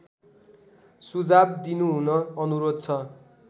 सुझाव दिनुहुन अनुरोध छ